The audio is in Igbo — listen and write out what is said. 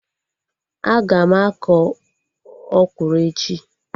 Aga m akọ ọkwụrụ echi